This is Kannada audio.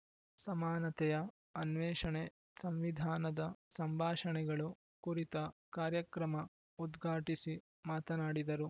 ಸಮಾನತೆಯ ಅನ್ವೇಷಣೆ ಸಂವಿಧಾನದ ಸಂಭಾಷಣೆಗಳು ಕುರಿತ ಕಾರ್ಯಕ್ರಮ ಉದ್ಘಾಟಿಸಿ ಮಾತನಾಡಿದರು